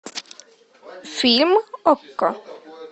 фильм окко